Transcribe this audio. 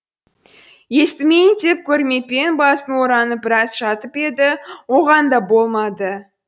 естімейін деп көрмеппін басын оранып біраз жатып еді оған да болмады